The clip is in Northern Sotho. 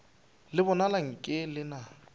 le bonala nke le na